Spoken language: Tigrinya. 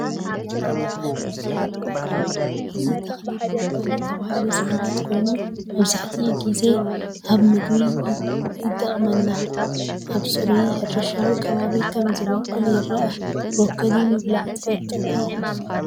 ቀጠልያ ኣሕምልቲ ይረአ ኣሎ። እዚ ተኽሊ ብሮኮሊ ተባሂሉ ዝፍለጥ ኮይኑ፡ መብዛሕትኡ ግዜ ኣብ ምግቢ ይጥቀመሉ። ኣብ ጽሩይን ሕርሻዊን ከባቢ ከም ዝበቁል ይርአ። ብሮኮሊ ምብላዕ ትፈትዉ ዶ?